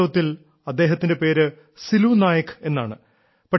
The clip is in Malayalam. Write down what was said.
വാസ്തവത്തിൽ അദ്ദേഹത്തിന്റെ പേര് സിലു നായക് എന്നാണ്